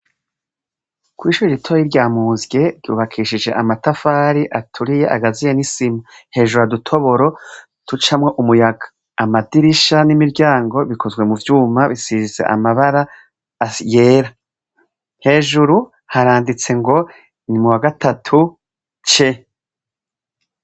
Kw'ishuri ritori rya muzye ryubakishije amatafari aturiye agaziye nisima hejuru adutoboro tucamwo umuyaga amadirisha n'imiryango bikozwe mu vyuma bisizize amabara yera hejuru haranditse ngo ni mu wa gatatu ce.